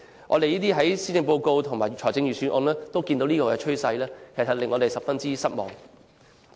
我們在施政報告及財政預算案見到這個趨勢，感到十分失望。